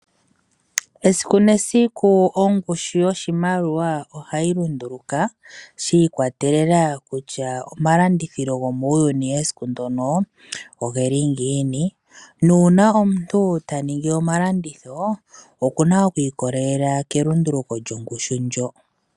Esiku nesiku ongushu yoshimaliwa ohayi lunduluka , shiikwatelela kutya omalandithilo gomuuyuni esiku ndyono, oge li ngiini . Uuna omuntu ta ningi omalanditho oku na okwiikolelela kelunduluko lyongushu ndyoka.